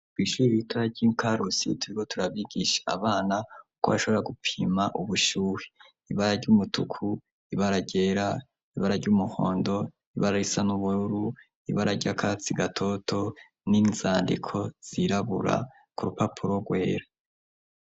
Kw'ishuri ibitara ry'inkarusi tubigo turabigisha abana uko bashobora gupima ubushuhi ibara ry'umutuku ibaragera ibara ry'umuhondo ibara risa n'ubururu ibara ry'akatsi gatoto n'inzandiko zirabura ku rupapuro rwera.